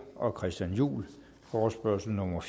og christian juhl forespørgsel nummer